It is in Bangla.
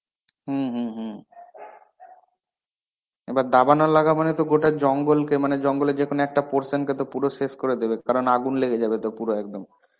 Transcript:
হম হম হম. এবার দাবানল লাগা মানে তো গোটা জঙ্গলকে মানে জঙ্গলে যেকোনো একটা portion কে তো পুরো শেষ করে দেবে. কারণ আগুন লেগে যাবেতো পুরো একদম.